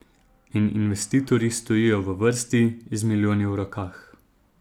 In investitorji stojijo v vrsti, z milijoni v rokah.